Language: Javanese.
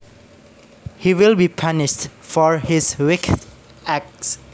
He will be punished for his wicked acts